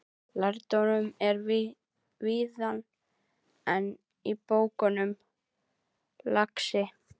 Lærdómurinn er víðar en í bókunum, lagsi.